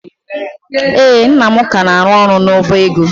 Ee, nna m ka na-arụ ọrụ n'ọba ego.